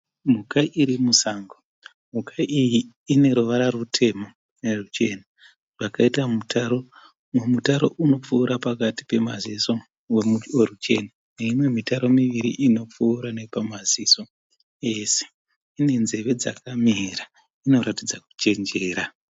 Mhuka iri musango . Mhuka iyi ine ruvara rutema neruchena rwakaita mutaro. Mumwe mutaro unopfuura pakati pemaziso weruchena neimwe mitaro miviri inopfuura nepamaziso ese. Ine nzeve dzakamira, inoratidza kuchenjera.